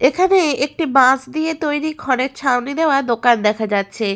এখানে একটি বাঁশ দিয়ে তৈরি খড়ের ছাউনি দেওয়া দোকান দেখা যাচ্ছে।